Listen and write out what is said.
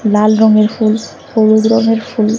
লাল রঙের ফুল হলুদ রঙের ফুল।